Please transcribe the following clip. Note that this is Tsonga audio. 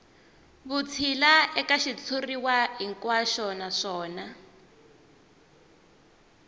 vutshila eka xitshuriwa hinkwaxo naswona